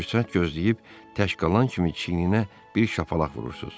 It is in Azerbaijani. Fürsət gözləyib tək qalan kimi çiyninə bir şapalaq vurursunuz.